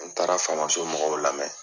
N taara faamaso mɔgɔw lamɛn.